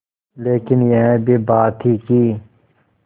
लेकिन यह भी बात थी कि